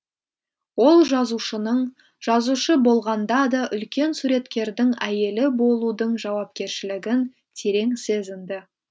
ол жазушының жазушы болғанда да үлкен суреткердің әйелі болудың жауапкершілігін терең сезінді